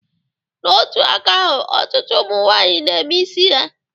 N'otu aka ahụ, ọtụtụ ụmụ nwaanyị na-eme isi ha